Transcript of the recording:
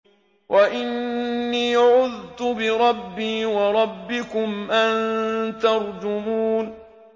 وَإِنِّي عُذْتُ بِرَبِّي وَرَبِّكُمْ أَن تَرْجُمُونِ